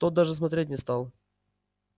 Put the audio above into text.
тот даже смотреть не стал